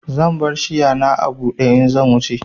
Zan bar shiya na a bude in zan wuce.